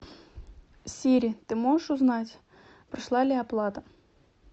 сири ты можешь узнать прошла ли оплата